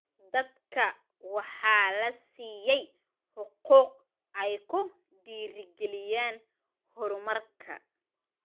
Dadka waxaa la siiyay xuquuq ay ku dhiirigeliyaan horumarka.